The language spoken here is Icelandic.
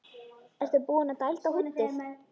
Ertu búinn að dælda húddið?